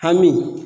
Hami